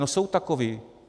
No jsou takoví.